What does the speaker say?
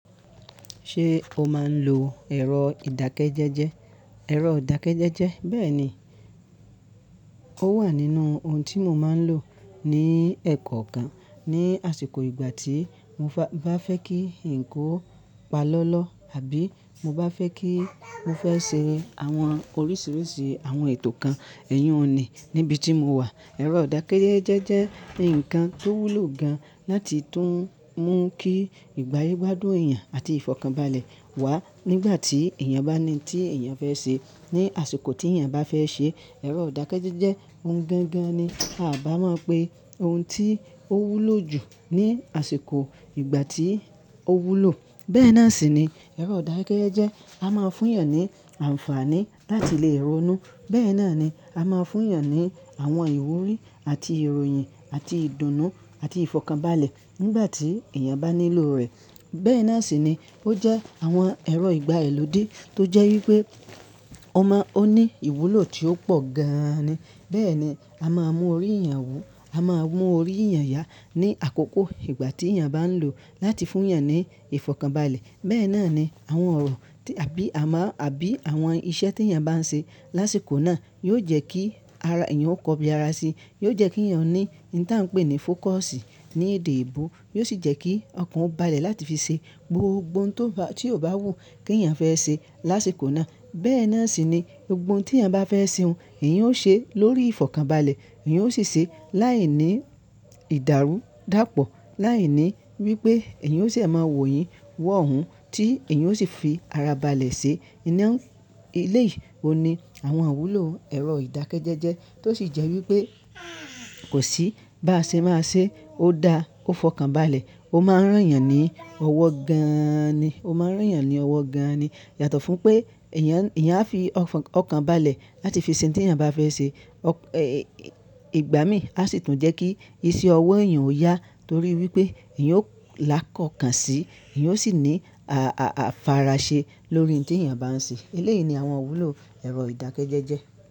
Ṣé o máa ń lo ẹ̀rọ ìdákẹ́jẹ́jẹ́? Ẹ̀rọ ìdákẹ́jẹ́jẹ́. Bẹ́ẹ̀ni, ó wà nínú ohun tí mo máa ń lò ní ẹ̀kọ́ kan ní àsìkò ìgbà tí mo bá fẹ́ kí nǹkan ó pa lọ́ lọ àbí mo bá fẹ́ kí mo fẹ́ ṣe àwọn oríṣiríṣi àwọn ètò kan, ẹ̀yún nì níbi tí mo wà. Ẹ̀rọ ìdákẹ́jẹ́jẹ́ jẹ́ ǹkan tó wúlò gan láti tún mú kí ìgbáyé gbádùn èèyàn àti ìfọ̀kànbalẹ̀ wá nígbà tí èèyàn bá ní tí èèyàn fẹ́ ṣe ní àsìkò tí èèyàn bá fẹ́ ṣe. Ẹ̀rọ ìdákẹ́jẹ́jẹ́ ohun gangan ni a bá mọ̀ pé ohun tí ó wúlò jù ní àsìkò ìgbà tí ó wúlò. Bẹ́ẹ̀ náà sì ni ẹ̀rọ ìdákẹ́jẹ́jẹ́ a máa fún èèyàn ní àǹfààní láti lè ronú. Bẹ́ẹ̀ náà ni a máa fún èèyàn ní àwọn ìwúrí àti ìròyìn àti ìdùnnú àti ìfọ̀kànbalẹ̀ nígbà tí èèyàn bá nílò rẹ̀. Bẹ́ẹ̀ náà sì ni ó jẹ́ àwọn ẹ̀rọ ìgbayii lòdè tó jẹ́ wípé ọma ó ní ìwúlò tí ó pọ̀ gan ni. Bẹ́ẹ̀ ni a máa mú orí èèyàn wù, a máa mú orí èèyàn yá ní àkókò ìgbà tí èèyàn bá ń lò láti fún èèyàn ní ìfọ̀kànbalẹ̀. Bẹ́ẹ̀ náà ni àwọn ọ̀rọ̀ tí àbí à máà àbí àwọn iṣẹ́ tí èèyàn bá ń ṣe lásìkò náà yóò jẹ́ kí ara èèyàn ó kọbi ara si. Yóò jẹ́ kí èèyàn ní ín ta ń pè ní fókọ̀sì ní èdè eebò. Yóò sì jẹ́ kí ọkàn ó balẹ̀ láti fi ṣe gbogbo ohun tó bá tí ò bá wù kí èèyàn fẹ́ ṣe lásìkò náà. Bẹ́ẹ̀ náà sì ni gbogbo ohun tí èèyàn bá fẹ́ ṣe òun, èèyàn ó ṣe lórí ìfọ̀kànbalẹ̀. Èèyàn ó sì ṣe láìní ìdàrúdàpọ̀, láìní wípé èèyàn ó sè máa wòyin wọ̀hún tí èèyàn ó sì fi ara balẹ̀ ṣe. Iná eléyìí ò ní àwọn iwúlò ẹ̀rọ ìdákẹ́jẹ́jẹ́ tó sì jẹ́ wípé kò sí bá ṣe má ṣe, ó da, ó fọkànbalẹ̀. Ó máa ń rán èèyàn ní ọwọ́ gan ni. Ó máa ń rán èèyàn ní ọwọ́ gan ni. Yàtọ̀ fún pé èèyàn, èèyàn á fi ọkàn balẹ̀ láti fi ṣe ohun tí èèyàn bá fẹ́ ṣe. Ẹ̀ ìgbà mì á sì tún jẹ́ kí iṣẹ́ ọwọ́ èèyàn ó yá torí wípé èèyàn ó là kọ̀kan sí, èèyàn ó sì ní a-a-a-fara ṣe lórí ohun tí èèyàn bá ń ṣe. Eléyìí ni àwọn wúlò ẹ̀rọ ìdákẹ́jẹ́jẹ́.